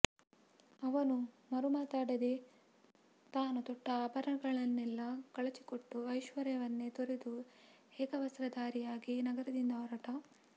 ಅವನು ಮರುಮಾತಾಡದೆ ತಾನು ತೊಟ್ಟ ಆಭರಣಗಳನ್ನೆಲ್ಲಾ ಕಳಚಿಕೊಟ್ಟು ಐಶ್ವರ್ಯವನ್ನೆಲ್ಲ ತೊರೆದು ಏಕವಸ್ತ್ರಧಾರಿಯಾಗಿ ನಗರದಿಂದ ಹೊರಟ